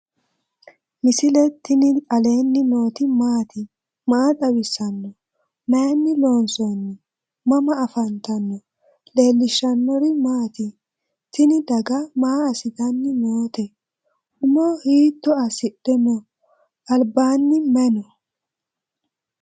misile tini alenni nooti maati? maa xawissanno? Maayinni loonisoonni? mama affanttanno? leelishanori maati? tinni daga maa asitanni nootte? umo hiitto asidhe noo? alibbanni may noo?